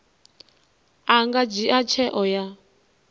a nga dzhia tsheo ya